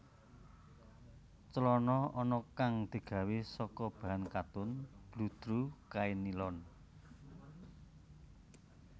Clana ana kang digawé saka bahan katun bludru kain nilon